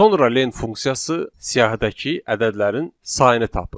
Sonra len funksiyası siyahıdakı ədədlərin sayını tapır.